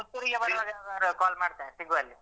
ಪುತ್ತೂರಿಗೆ ಬರುವಾಗ ಯಾವಾಗಾದ್ರೂ call ಮಾಡ್ತೇನೆ ಸಿಗುವ ಅಲ್ಲಿ